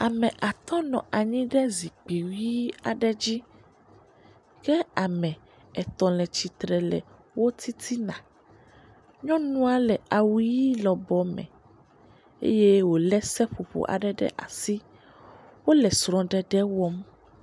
Ame atɔ nɔ anyi ɖe zikpui ʋi aɖe dzi. Ke ame etɔ̃ le tsitre le wo titina. Nyɔnua le awu ʋi lɔbɔ me eye wo le seƒoƒo aɖe ɖe asi. Wo le srɔɖeɖe wɔm.